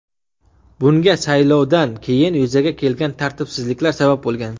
Bunga saylovdan keyin yuzaga kelgan tartibsizliklar sabab bo‘lgan.